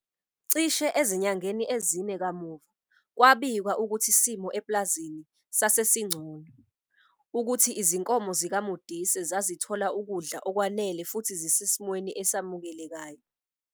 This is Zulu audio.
Cishe ezinyangeni ezine kamuva, kwabikwa ukuthi isimo epulazini sase singcono, ukuthi izinkomo zikaModise zazithola ukudla okwanele futhi "zisesimweni esamukelekayo".